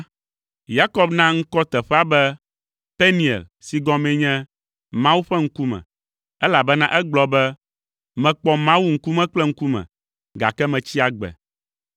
Yakob na ŋkɔ teƒea be “Peniel” si gɔmee nye “Mawu ƒe ŋkume,” elabena egblɔ be, “Mekpɔ Mawu ŋkume kple ŋkume, gake metsi agbe.”